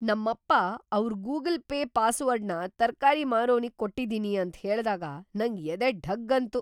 ನಮ್ಮಪ್ಪ ಅವ್ರ್ Google Pay ಪಾಸ್‌ವರ್ಡ್‌ನ ತರ್ಕಾರಿ ಮಾರೋನಿಗ್ ಕೊಟ್ಟಿದೀನಿ ಅಂತ್‌ ಹೇಳ್ದಾಗ ನಂಗ್‌ ಎದೆ ಢಗ್‌ ಅಂತು.